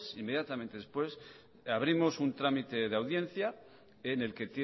inmediatamente después abrimos un trámite de audiencia en el que